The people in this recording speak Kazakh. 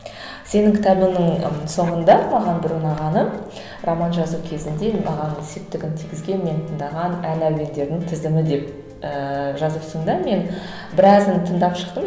сенің кітабыңның ы соңында маған бір ұнағаны роман жазу кезінде маған септігін тигізген мен тыңдаған ән әуендердің тізімі деп ыыы жазыпсың да мен біразын тыңдап шықтым